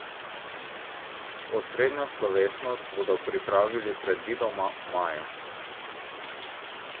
Osrednjo slovesnost bodo pripravili predvidoma maja.